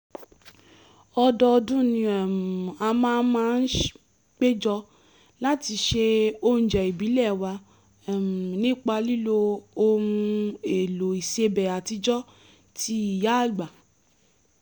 ọdọọdún ni um a máa a máa ń péjọ láti se oúnjẹ ìbílẹ̀ wa um nípa lílo ohun-èlò ìsebẹ̀ àtijọ́ ti ìyáàgbà